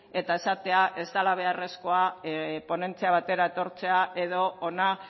eta esatea ez dala beharrezkoa ponentzia batera etortzea edo hona